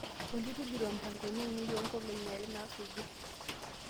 olly tujuto mpangoni aainei oo nkolongi are naasuju